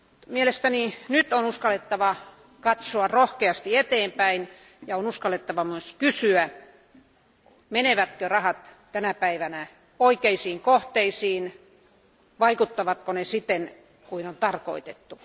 Mielestäni nyt on uskallettava katsoa rohkeasti eteenpäin ja on uskallettava myös kysyä, menevätkö rahat tänä päivänä oikeisiin kohteisiin ja vaikuttavatko ne siten, kuin on tarkoitettu.